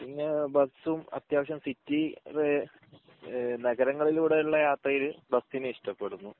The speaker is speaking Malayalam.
പിന്നെ ബസും അത്യാവശ്യം സിറ്റി ഏഹ് നഗരങ്ങളിലൂടെയുള്ള യാത്രയിൽ ബസിനെ ഇഷ്ടപ്പെടുന്നു